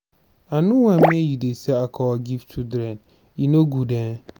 i no want make you dey sell alcohol give children e no good um.